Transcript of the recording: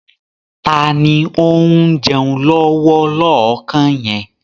Taàní ó ń jẹun lọ́wọ́ lọ́kàn yẹn?